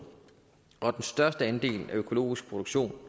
og den største andel af økologisk produktion